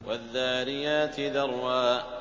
وَالذَّارِيَاتِ ذَرْوًا